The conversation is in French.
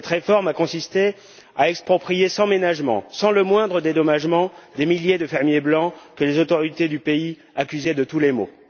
Cette réforme a consisté à exproprier sans ménagement, sans le moindre dédommagement, des milliers de fermiers blancs que les autorités du pays accusaient de tous les maux.